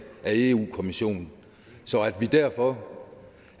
europa kommissionen derfor